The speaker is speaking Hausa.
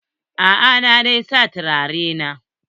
A'a, na dai sa turare ne.